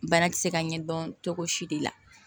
Bana ti se ka ɲɛdɔn cogo si de la